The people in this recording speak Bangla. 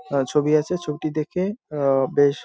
আ ছবি আছে ছবিটি দেখে-এ আ-আ বেশ।